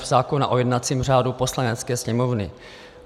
f) zákona o jednacím řádu Poslanecké sněmovny.